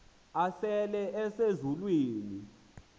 asele ese zulwini